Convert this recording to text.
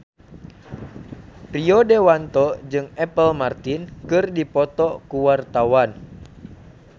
Rio Dewanto jeung Apple Martin keur dipoto ku wartawan